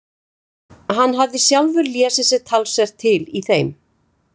Hann hafði sjálfur lesið sér talsvert til í þeim.